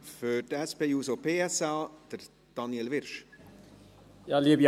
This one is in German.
Für die SP-JUSO-PSA hat Daniel Wyrsch das Wort.